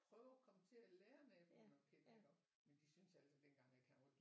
Prøve at komme til at lære naboerne at kende iggå men de syntes altså dengang at han var dybt